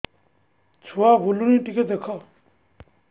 ଛୁଆ ବୁଲୁନି ଟିକେ ଦେଖ